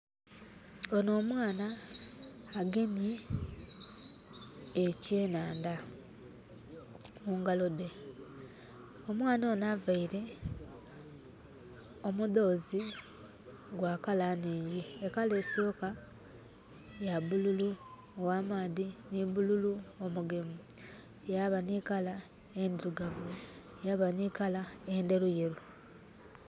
Onho omwana agemye ekyenandha mungalo dhe. Omwana onho avaire omudhoozi gwa colour nhingyi. E colour esooka ya bululu ogh'amaadhi nhi bululu omugemu. Yaba nhi colour endhirugavu. Yaba nhi colour endheruyeru.